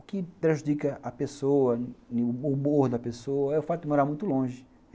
O que prejudica a pessoa, o humor da pessoa, é o fato de morar muito longe.